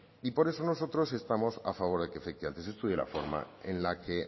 y por eso nosotros estamos a favor de que efectivamente se estudie la forma en la que